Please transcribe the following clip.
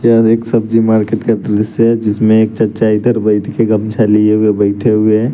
यह एक सब्जी मार्केट का दृश्य है जिसमें एक चाचा इधर बैठ के गमछा लिए हुए बैठे हुए हैं।